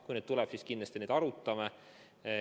Kui neid tuleb, siis kindlasti me neid arutame.